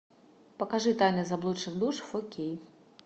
покажи тайны заблудших душ фо кей